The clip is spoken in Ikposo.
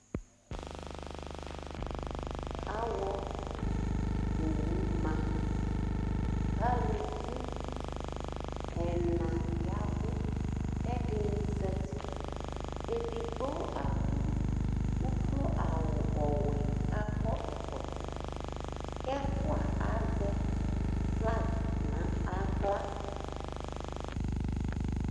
awɔ owu ma kʊ ulʊvɩ ɛŋa ʋʊ ƙɛɖɩŋɩ zatɩ éɖigbo aɖʊ ʊƙlo awʊ ɔwɛ ƙaƙɔ ʊƙlo ƙɔtɔ ƙɛ ɛƒʊa azɛ ƒlag nahlȧ̵